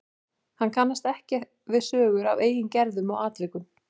Hann kannast ekki við sögur af eigin gerðum og atvikum.